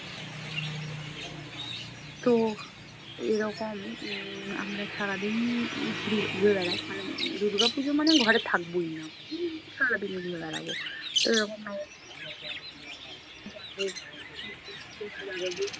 তো এরকম উম আমরা সারাদিন ঘুরি~ ঘুরে বেড়াই। মানে দুর্গাপূজো মানে ঘরে থাকবোই না! উম সারাদিন ঘুরে বেড়াবো এরকম নবমীর বন্ধু-বান্ধব